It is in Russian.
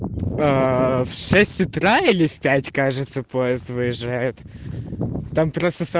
аа в шесть утра или в пять кажется поезд выезжает там просто со